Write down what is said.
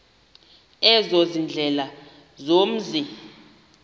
ezo ziindlela zomzi